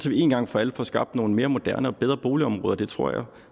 vi en gang for alle får skabt nogle mere moderne og bedre boligområder det tror jeg